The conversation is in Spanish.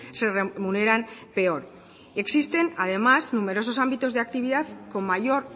se remuneran peor existen además numerosos ámbitos de actividad con mayor